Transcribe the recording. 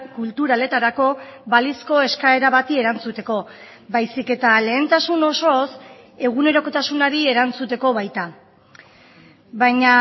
kulturaletarako balizko eskaera bati erantzuteko baizik eta lehentasun osoz egunerokotasunari erantzuteko baita baina